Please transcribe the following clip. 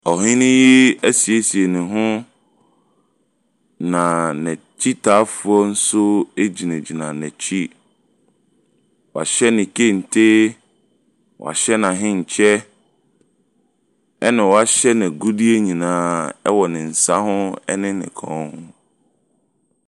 Ohene asiesie ne ho na n'akyitaafoɔ nso gyinagyina n'akyi. Wahyɛ ne kente. Wɔahyɛ n'ahenkyɛ na wɔahyɛ n'agu nyinaa wɔ ne nsa ho ne ne kɔn ho.